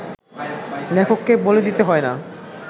লেখককে বলে দিতে হয় না